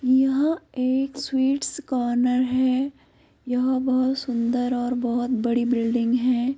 यह एक sweets corner है। यह बोहोत सुंदर और बोहोत बड़ी बिल्डिंग है।